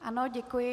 Ano, děkuji.